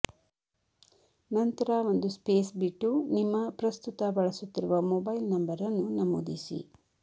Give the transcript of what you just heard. ನಂತರ ಒಂದು ಸ್ಪೇಸ್ ಬಿಟ್ಟು ನಿಮ್ಮ ಪ್ರಸ್ತುತ ಬಳಸುತ್ತಿರುವ ಮೊಬೈಲ್ ನಂಬರ್ ಅನ್ನು ನಮೂದಿಸಿ